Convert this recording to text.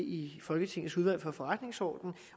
i folketingets udvalg for forretningsordenen